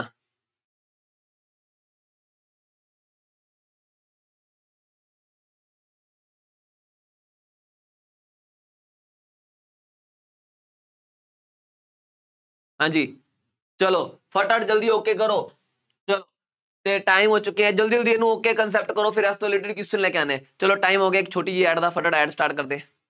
ਹਾਂਜੀ ਚੱਲੋ ਫਟਾਫਟ ਜਲਦੀ okay ਕਰੋ, ਅਤੇ time ਹੋ ਚੁੱਕਿਆ, ਜਲਦੀ ਜਲਦੀ ਇਹਨੂੰ ok concept ਕਰੋ, ਫੇਰ ਲੈ ਕੇ ਆਉਂਦੇ ਹਾਂ, ਚੱਲੋ time ਹੋ ਗਿਆ, ਇੱਕ ਛੋਟੀ ਜਿਹੀ add ਦਾ, ਫਟਾਫਟ add start ਕਰ ਦੇ,